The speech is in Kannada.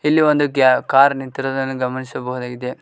ಇಲ್ಲಿ ಒಂದು ಗ್ಯ ಕಾರ್ ನಿಂತಿರುವುದನ್ನು ಗಮನಿಸಬಹುದಾಗಿದೆ.